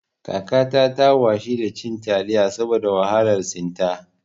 Kakata ta washi cin taliyar saboda wahalar cin ta